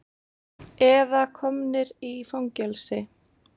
Eða komnir í fangelsi.